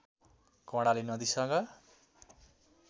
कर्णाली नदीसँग